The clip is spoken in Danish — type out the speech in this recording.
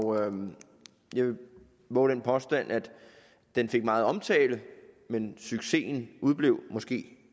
jeg vil vove den påstand at den fik meget omtale men succesen udeblev måske